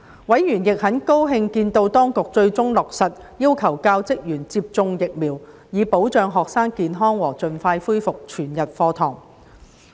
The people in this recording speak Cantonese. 委員亦很高興見到當局最終落實要求教職員接種疫苗，以保障學生健康和盡快恢復全日課堂。